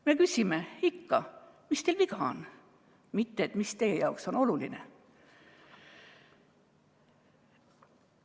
Me küsime ikka, mis teil viga on, mitte seda, mis teie jaoks oluline on.